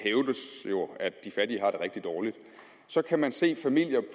rigtig dårligt kan man se familier